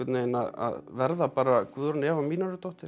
að verða bara Guðrún Eva